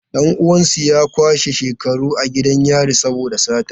Dan uwansu ya kwashe shekaru a gidan yari saboda sata.